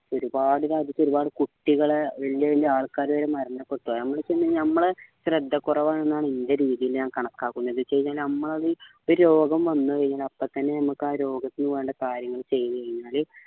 ഒരുപാട് രാജ്യത്ത് ഒരുപാട് കുട്ടികൾ വല്യാ വല്യാ ആൾക്കാര് വരെ മരണപ്പെട്ടു അത് നമ്മൾ വെച്ച് കഴിഞ്ഞാ അത് നമ്മളെ ശ്രദ്ധ കുറവാണ് എന്നാണ് എൻറെ രീതിയിലെ ഞാൻ കണക്കാക്കുന്നത് എന്താണ് വെച്ച് കഴിഞ്ഞാല് നമ്മൾ അത് ഒരു രോഗം വന്നു കഴിഞ്ഞാൽ അപ്പത്തന്നെ നമ്മക്ക് ആ രോഗത്തിന് വേണ്ട കാര്യങ്ങൾ ചെയ്തുകഴിഞ്ഞാൽ